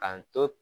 A to